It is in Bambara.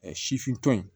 sifintɔ ye